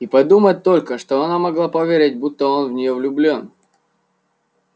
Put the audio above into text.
и подумать только что она могла поверить будто он в неё влюблён